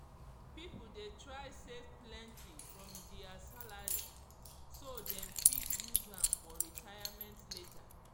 people dey try save plenty from dia salary so dem fit use am for retirement later